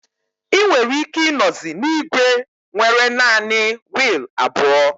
Ị nwere ike ịnozi na igwe nwere naanị wiil abụọ